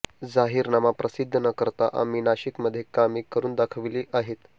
जाहीरनामा प्रसिद्ध न करता आम्ही नाशिकमध्ये कामे करून दाखवली आहेत